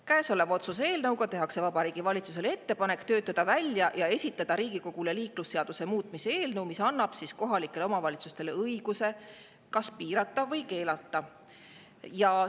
Käesoleva otsuse eelnõuga tehakse Vabariigi Valitsusele ettepanek töötada välja ja esitada Riigikogule liiklusseaduse muutmise eelnõu, mis annab kohalikele omavalitsustele õiguse piirata või keelata.